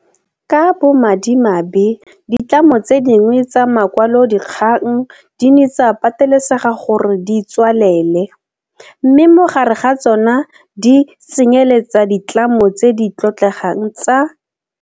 Ka bo madimabe ditlamo tse dingwe tsa makwalodikgang di ne tsa patelesega gore di tswalele, mme mo gare ga tsona di tsenyeletsa le ditlamo tse di tlotlegang tsa.